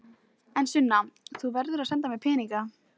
En Sunna, þú verður að senda mér peninga.